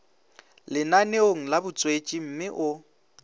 lenaneong la botswetši mme o